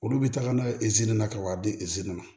Olu bɛ taga n'a ye na ka wari di ezini ma